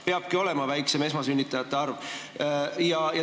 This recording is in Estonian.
Seega peabki esmasünnitajate arv väiksem olema.